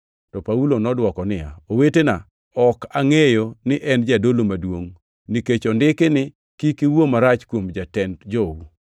To Paulo nodwoko niya, “Owetena, ne ok angʼeyo ni en jadolo maduongʼ, nikech ondiki ni, ‘Kik iwuo marach kuom jatend jou.’ + 23:5 \+xt Wuo 22:28\+xt*”